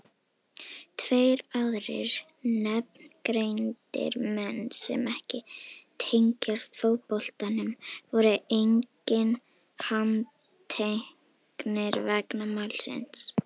Tveir aðrir nafngreindir menn sem ekki tengjast fótboltanum voru einnig handteknir vegna málsins.